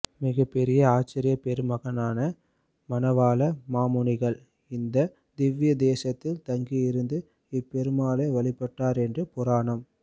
மிகப்பெரிய ஆசார்யப் பெருமகனான மணவாள மாமுனிகள் இந்த திவ்ய தேசத்தில் தங்கியிருந்து இப்பெருமாளை வழிபட்டார் என்று புராணம்